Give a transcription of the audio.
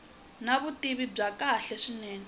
na vutivi bya kahle swinene